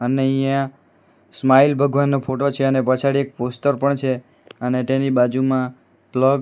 ને અઈયા સ્માઈલ ભગવાનનો ફોટો છે અને પછાડી એક પોસ્ટર પણ છે અને તેની બાજુમાં પ્લગ --